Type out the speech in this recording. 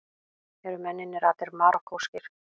Eru mennirnir allir Marokkóskir